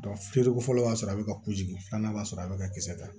feereko fɔlɔ y'a sɔrɔ a bɛ ka ku jigi filanan b'a sɔrɔ a bɛ ka kisɛ ta